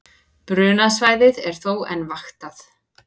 Brunasvæðið er þó enn vaktað